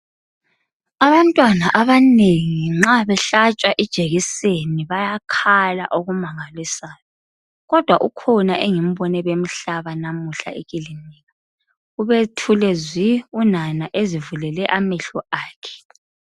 Abantwana abanengi nxa behlatshwa ijekiseni bayakhala okumangalisayo kodwa ukhona engimbone bemhlaba namuhla ekilinika, ubethule zwi unana ezivulele amehlo akhe.